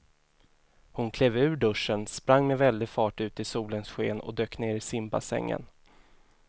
Hon klev ur duschen, sprang med väldig fart ut i solens sken och dök ner i simbassängen.